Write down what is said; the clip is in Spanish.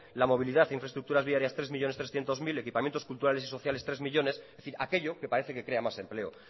la movilidad e infraestructuras viarias tres millónes trescientos mil equipamientos culturales y sociales tres millónes es decir aquello que parece que crea más empleo